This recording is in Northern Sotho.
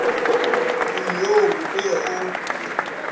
o leobu o ye o